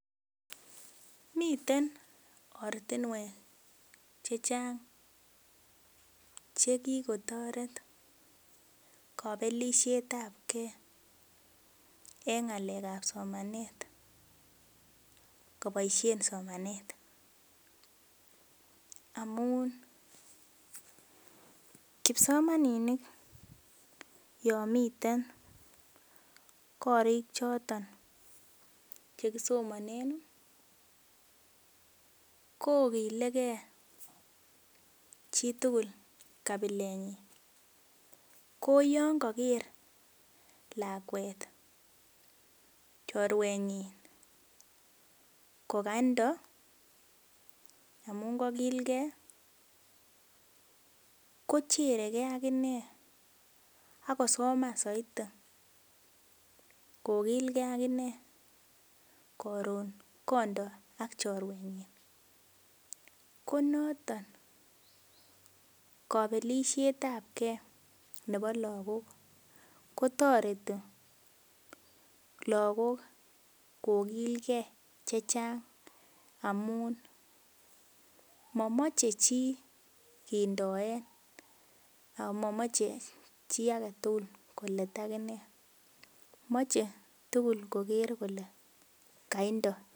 Miten ortinwek chechang chekikotoret kobelisiet ab gee en ng'alek ab somanet koboisien somanet amun kipsomaninik yon miten korik choton chekisomonen kokilegee chitugul kabilet nyin ko yon koker lakwet chorwetnyin kokandoo amun kokilgee kocheregee akinee akosoman soiti kokilgee ak inee koron kondo ak chorwetnyin konoton kobelisiet ab gee nebo lagok kotoreti lagok kokilgee chechang amun momoche chii kindoen amomoche chii aketugul kolet akinee moche tugul koker kole kaindoo